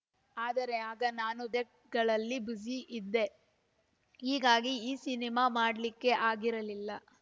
ಆದರೆ ಆಗ ನಾನು ಕ್ಟ್ಗಳಲ್ಲಿ ಬ್ಯುಸಿ ಇದ್ದೆಇಗಾಗಿ ಈ ಸಿನಿಮಾ ಮಾಡ್ಲಿಕ್ಕೆ ಆಗಿರಲಿಲ್ಲ